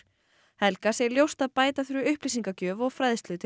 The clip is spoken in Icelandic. helga segir ljóst að bæta þurfi upplýsingagjöf og fræðslu til